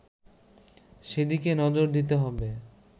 সেদিকে নজর দিতে হবে